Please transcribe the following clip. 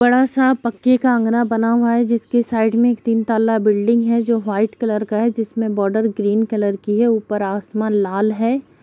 बड़ा सा पक्के का आँगना बना हुआ है जिसकी साइड में एक तीन तल्ला बिल्डिंग है जो व्हाइट कलर का है जिसमें बॉर्डर ग्रीन कलर कि है ऊपर आसमान लाल हैं।